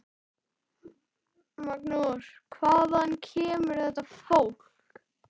Magnús: Hvaðan kemur þetta fólk?